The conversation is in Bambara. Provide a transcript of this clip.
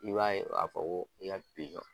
I b'a ye ka fɔ ko i ka